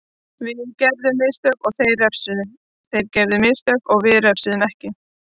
Við gerðum mistök og þeir refsuðu, þeir gerðu mistök við refsuðum ekki.